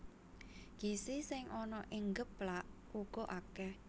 Gizi sing ana ing geplak uga akèh